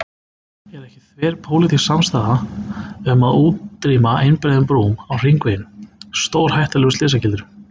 Er ekki þverpólitísk samstaða um að útrýma einbreiðum brúm á hringveginum, stórhættulegum slysagildrum?